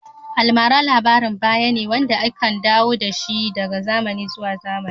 Almara labarin bayane wande ake dawo dashi daga zamani zuwa zamani